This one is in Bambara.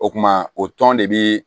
O kuma o tɔn de bɛ